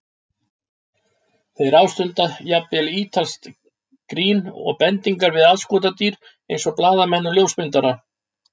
Þeir ástunda jafnvel ítalskt grín og bendingar við aðskotadýr eins og blaðamenn og ljósmyndara.